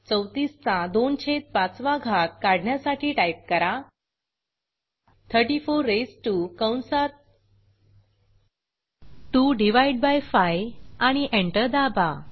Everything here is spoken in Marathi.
34 चा 2 छेद 5 वा घात काढण्यासाठी टाईप करा 34 रेझ्ड टीओ कंसात 25 आणि एंटर दाबा